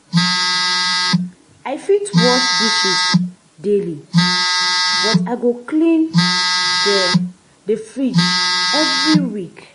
I fit wash dishes daily, but I go clean the the fridge every week.